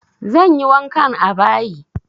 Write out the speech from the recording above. Zan yi wankan a bayi.